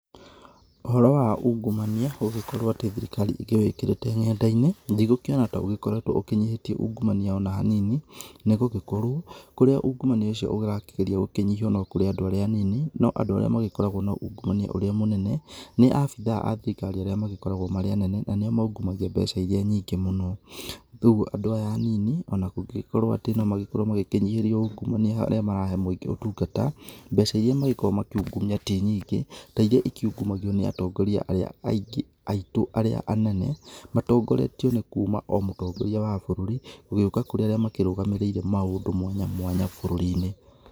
Ũhoro wa ungumania gũgĩkorwo atĩ thirikari ĩkĩwĩkĩrĩte nenda-inĩ, ndĩgũkĩona ta ũgĩkoretwo ũkĩnyihĩtie ungumania ona hanini, nĩgũgĩkorwo kũrĩa ungumania ũcio ũrakĩgeria gũkĩnyihio no kũrĩ andũ arĩa anini no andũ arĩa magĩkoragwo na ungumania ũrĩa mũnene nĩ abithaa a thirikari arĩa magĩkoragwo marĩ anene, na nĩo maungumagĩa mbeca ĩria nyingĩ mũno. Koguo andũ aya anini ona kũngĩgĩkorwo atĩ no magĩkorwo magĩkĩnyihĩrio ungumania harĩa marahe mũingĩ ũtungata, mbeca iria mangĩ gĩkoragwo makiungumia ti nyingĩ ta iria ĩkiungumagio nĩ atongoria arĩa aingĩ aitũ arĩa anene matongoretio nĩ kuma o mũtongoria wa bũrũri gũgĩũka kũrĩ arĩa makĩrũgamĩrĩire maũndũ mwanya mwanya bũrũri-inĩ.